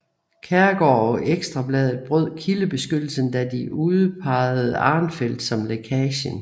Kjærgaard og Ekstra Bladet brød kildebeskyttelsen da de udpejede Arnfeldt som lækagen